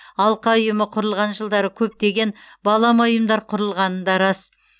алқа ұйымы құрылған жылдары көптеген балама ұйымдар құрылғаны да рас